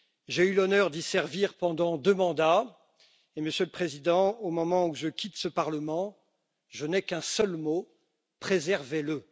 J'ai eu l'honneur d'y servir pendant deux mandats et Monsieur le Président, au moment où je quitte ce Parlement, je n'ai qu'un seul mot préservez le.